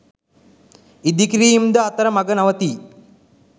ඉඳිකිරීම් ද අතර මග නවතී